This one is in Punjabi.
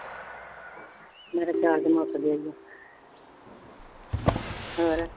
ਮੇਰਾ ਚਾਰਜ਼ ਮੁੱਕ ਗਿਆ ਸੀ ਹੋਰ